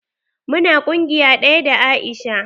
Mu na ƙungiya ɗaya da Aisha.